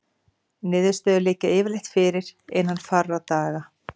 Niðurstöður liggja yfirleitt fyrir innan fárra daga.